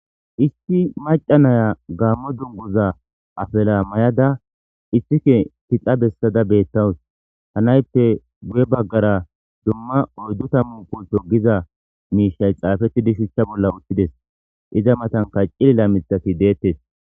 issi maca naya gaammo dungoza afela may7ada istike tixa bessada beettawus hanayppe gu7e baggara dumma oyddu ta mu quto giza miishay xaafettidi shuchcha bolla uththides iza matan kacci lila mithati deettes